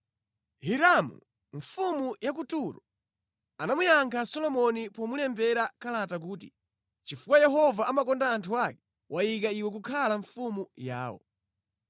Hiramu, mfumu ya ku Turo, anamuyankha Solomoni pomulembera kalata kuti, “Chifukwa Yehova amakonda anthu ake, wayika iwe kukhala mfumu yawo.”